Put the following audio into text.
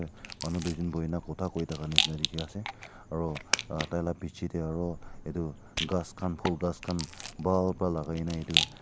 manu duijun buhi na kotha kui thaka nishena dikhi ase aro uh taila piche de aro edu ghas khan phool ghas khan bhal para lagai gina etu--